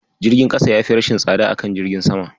Jirgin ƙasa yafi rashin tsada a kan jirgin sama.